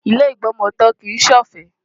Ilé ìgbọmọtọ́ kìí ṣe ọ̀fẹ́.